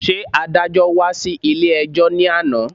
Ṣé adájọ́́ wá sí ilé-ẹjọ́ ní àná